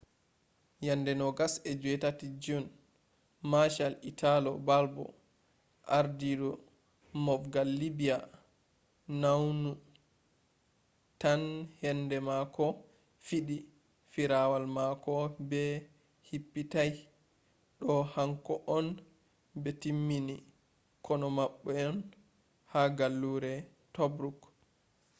yande 28 june marshal italo balbo ardidu mofgal libya nounou tan henbe mako fidi firawal mako be hippitai do hanko’on be taimmi kono mabbe’on ha gallure tobruk